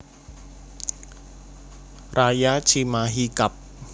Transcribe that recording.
Raya Cimahi Kab